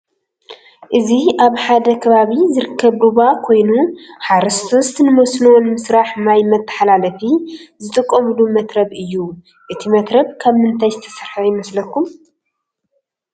እዚ አብ ሐደ ከባቢ ዝርከብ ሩባ ኮይኑ ሐረስቶት ንሞስኖ ንምስራሕ ማይ መተሐላለፊ ዝጥቀምሉ መትረብ እዩ። እቲ መትረብ ካብ ምንታይ ዝተሰርሐ ይመስለኩም?